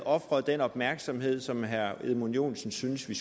ofret den opmærksomhed som herre edmund joensen synes vi